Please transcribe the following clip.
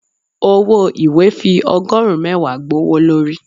ọwọ ìwé fi ogorun mẹwa gbówólorí.